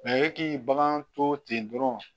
e k'i bagan to ten dɔrɔn